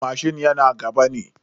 Tankin mashin yana gaba ne.